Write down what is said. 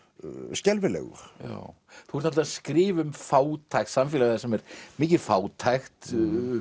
skelfilegur þú ert að skrifa um fátækt samfélag þar sem er mikil fátækt